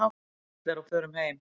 Erla er á förum heim.